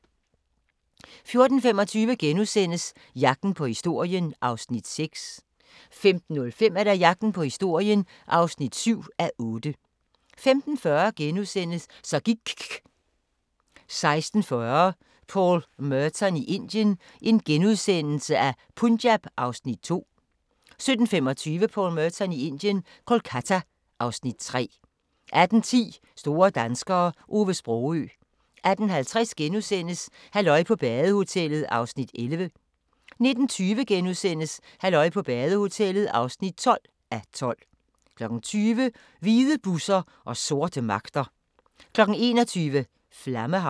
14:25: Jagten på historien (6:8)* 15:05: Jagten på historien (7:8) 15:40: Så gIKK' * 16:40: Paul Merton i Indien – Punjab (Afs. 2)* 17:25: Paul Merton i Indien – Kolkata (Afs. 3) 18:10: Store danskere - Ove Sprogøe 18:50: Halløj på badehotellet (11:12)* 19:20: Halløj på badehotellet (12:12)* 20:00: Hvide busser og sorte magter 21:00: Flammehav